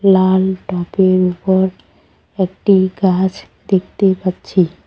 লাল টবের উপর একটি গাছ দেখতে পাচ্ছি।